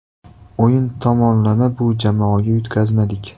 O‘yin tomonlama bu jamoaga yutqazmadik.